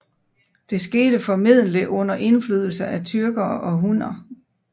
Det skete formodentligt under indflydelse af tyrkere og hunner